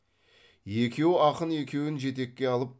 екі ақын екеуін жетекке алып